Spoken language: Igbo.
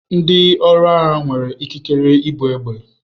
Ndi ọrụ agha nwere ikikere ibu egbe.